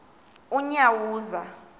unyawuza